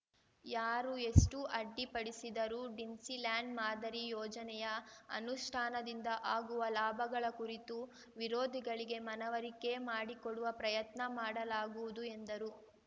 ಯಾರು ಎಷ್ಟು ಅಡ್ಡಿ ಪಡಿಸಿದರೂ ಡಿಸ್ನಿಲ್ಯಾಂಡ್‌ ಮಾದರಿ ಯೋಜನೆಯ ಅನುಷ್ಠಾನದಿಂದ ಆಗುವ ಲಾಭಗಳ ಕುರಿತು ವಿರೋಧಿಗಳಿಗೆ ಮನವರಿಕೆ ಮಾಡಿಕೊಡುವ ಪ್ರಯತ್ನ ಮಾಡಲಾಗುವುದು ಎಂದರು